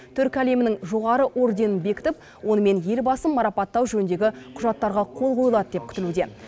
түркі әлемінің жоғары орденін бекітіп онымен елбасын марапаттау жөніндегі құжаттарға қол қойылады деп күтілуде